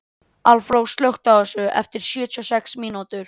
Álfrós, slökktu á þessu eftir sjötíu og sex mínútur.